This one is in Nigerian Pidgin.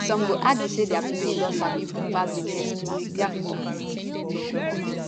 some go argue say dia pikin don sabi book pass di next class diafore